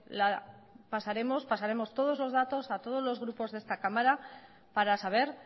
pasaremos todos los datos a todos los grupos de esta cámara para saber